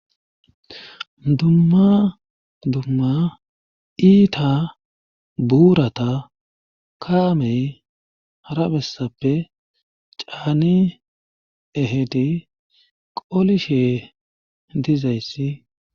Dumma dumma iita buurata kaamey harabessappe caani ehedi qolishe dizayssi.